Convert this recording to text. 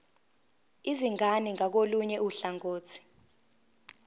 izingane ngakolunye uhlangothi